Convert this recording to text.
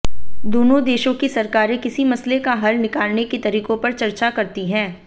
दोनों देशों की सरकारें किसी मसले का हल निकालने के तरीकों पर चर्चा करती हैं